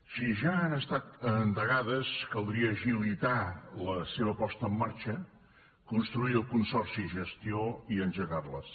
si ja han estat endegades caldria agilitar la seva posada en marxa construir el consorci gestió i engegar les